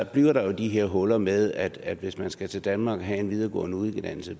bliver der jo de her huller med at at hvis man skal til danmark og have en videregående uddannelse